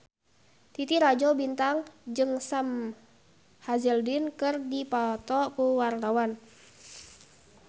Titi Rajo Bintang jeung Sam Hazeldine keur dipoto ku wartawan